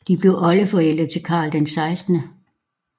De blev oldeforældre til Carl 16